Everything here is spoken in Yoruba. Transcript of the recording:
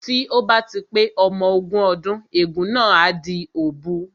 Tí ó bá ti pé ọmọ ogún ọdún ègún náà á di òbu